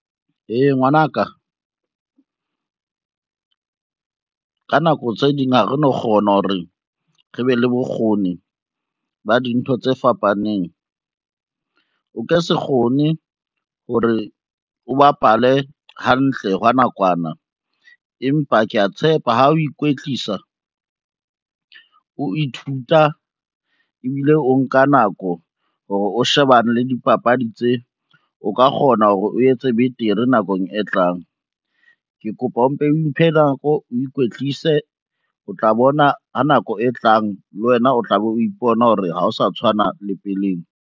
Ee ngwana ka, ka nako tse ding ha re no kgona hore re be le bokgoni ba dintho tse fapaneng. O ke se kgone hore o bapale hantle hwa nakwana empa kea tshepa ha o ikwetlisa, o ithuta ebile o nka nako hore o shebane le dipapadi tse, o ka kgona hore o etse betere nakong e tlang. Ke kopa o mpe o iphe nako, o ikwetlise, o tla bona ha nako e tlang le wena o tlabe o ipona hore ha o sa tshwana le peleng.